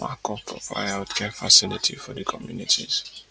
lack of proper healthcare facility for di communities